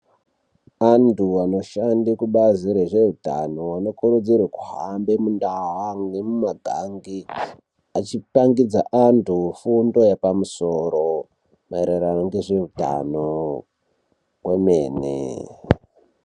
Anthu anoshande kubazi rezveutano anokurudzirwa kuhamba mundaawu nemumagange achipangidza antu fundo yepamusoro maererano ngezveutano kwemene.